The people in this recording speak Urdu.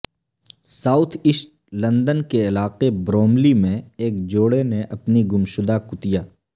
ساوتھ ایسٹ لندن کے علاقے بروملی میں ایک جوڑے نے اپنی گم شدہ کتیا